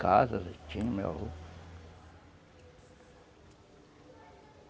casas, ele tinha, meu avó.